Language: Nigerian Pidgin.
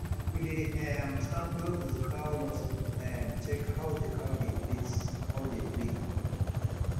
we dey um stand close to the cow nose to um check how the cow dey breathe cow dey breathe